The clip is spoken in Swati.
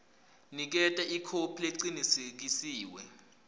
niketa ikhophi lecinisekisiwe